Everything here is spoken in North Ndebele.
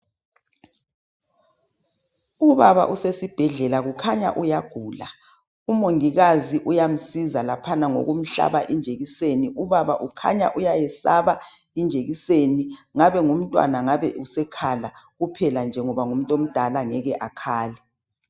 Ubaba osesibhedlela ukhanya uyagula umongikazi uyamsiza laphana ngokumhlaba ijekiseni ubaba ukhanya uyayiyesaba ijekiseni ngabemntwana ngabesekhala kodwa semdala ngeke akhale